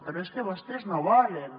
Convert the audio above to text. però és que vostès no volen